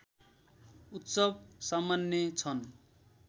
उत्सव सम्मान्य छन्